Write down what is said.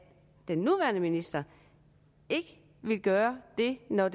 den nuværende minister ikke vil gøre det når